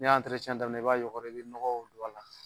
N'i y'a daminɛ i b'a yɔgɔri i bɛ nɔgɔ don a la